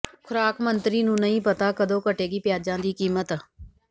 ਖੁਰਾਕ ਮੰਤਰੀ ਨੂੰ ਨਹੀਂ ਪਤਾ ਕਦੋਂ ਘਟੇਗੀ ਪਿਆਜਾਂ ਦੀ ਕੀਮਤ